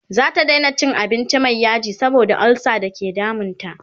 zata Daina cin abinci Mai yaji saboda ulsa da ke damun ta